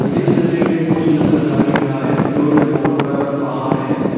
इस तस्वीर में एक बहुत सुंदर सा नजारा दिख रहा है दूर में बहुत बड़ा बड़ा पहाड़ है।